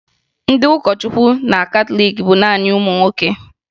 Ndị ụkọchukwu na katọliiki bụ naanị ụmụ nwoke